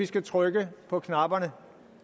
skal trykke på knapperne